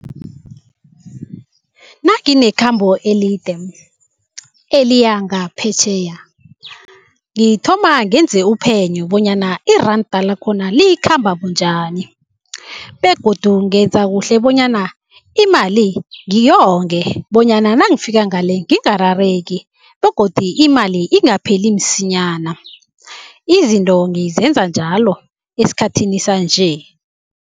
Nanginekhambo elide eliya ngaphetjheya, ngithoma ngenze uphenyo bonyana iranda lakhona likhamba bunjani begodu ngenza kuhle bonyana imali ngiyonge bonyana nangifika ngale ngingarareki begodi imali ingapheli msinyana. Izinto ngizenza njalo esikhathini sanje.